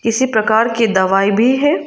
इसी प्रकार की दवाई भी है।